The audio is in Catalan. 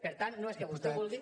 per tant no és que vostè vulgui